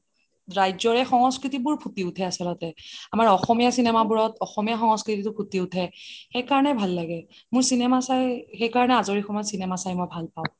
ৰাজ্যৰে সংস্কৃতি বোৰ ফুটি উঠে আমাৰ অসমীয়া cinema সংস্কৃতি ফুটি উঠে সেইকানে ভাল লাগে মোৰ cinema চাই সেইকাৰণে আজৰি সময়ত cinema চাই মই ভাল পাওঁ